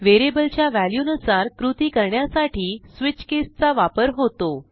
व्हेरिएबलच्या व्हॅल्यूनुसार कृती करण्यासाठी स्विच केस चा वापर होतो